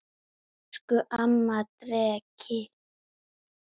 Elsku amma Dreki.